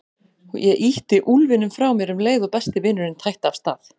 Ég ýtti úlfinum frá mér um leið og besti vinurinn tætti af stað.